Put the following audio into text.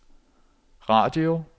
radio